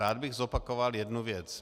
Rád bych zopakoval jednu věc.